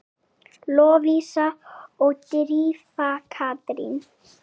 Lovísa og Drífa Katrín.